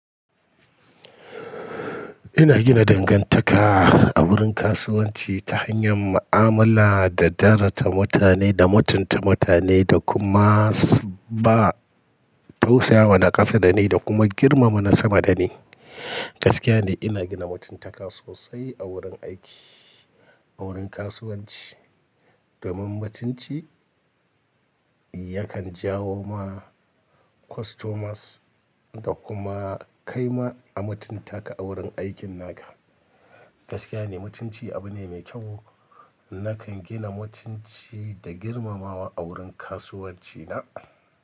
Ina gina dangantaka a wurin kasuwanci ta hanyar mu'amala da daraja ta mutane da mutunta mutane da kuma s ba tausaya wa na ƙasa da ni da kuma girmama na sama da ni. Gaskiya ne ina gina mutuntaka sosai a wurin aiki, a wurin kasuwanci. Domin mutunci yakan jawo ma customers da kuma kai ma a mutunta ka a wurin aikin naka. Gaskiya ne mutunci abu ne mai kyau. Nakan gina mutunci da girmamawa a wurin kasuwanci na.